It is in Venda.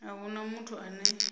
a hu na muthu ane